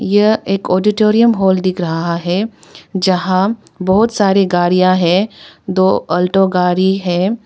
यह एक auditorium hall दिख रहा है जहां बहोत सारे गाड़ियां है दो अल्टो गाड़ी है।